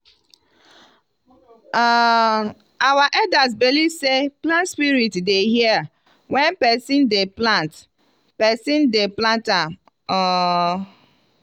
um our elders believe sey plant spirit dey hear when person dey plant person dey plant am. um